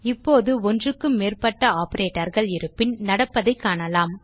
இப்போது ஒன்றுக்கும் மேற்ப்பட்ட operatorகள் இருப்பின் நடப்பதைக் காணலாம்